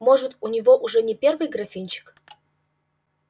может у него уже не первый графинчик